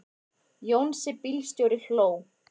Jónsi bílstjóri hló.